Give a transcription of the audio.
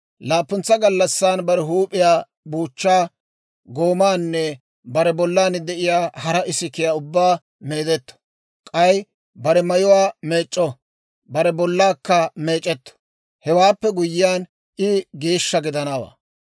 Laappuntsa gallassan bare huup'iyaa, buuchchaa, goomaanne bare bollan de'iyaa hara isikiyaa ubbaa meedetto; k'ay bare mayuwaa meec'c'o; bare bollaakka meec'etto; Hewaappe guyyiyaan, I geeshsha gidanawaa.